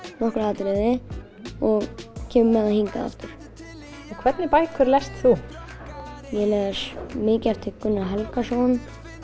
nokkur atriði og kemur með það hingað aftur hvernig bækur lest þú ég les mikið eftir Gunnar Helgason